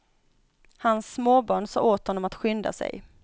Hans småbarn sa åt honom att skynda sig.